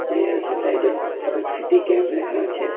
কে L সোসাইডে Parag city cab লেখা আছে।